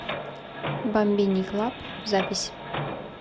бамбини клаб запись